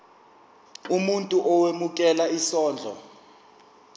umuntu owemukela isondlo